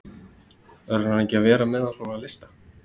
Verður hann ekki að vera með á svona lista?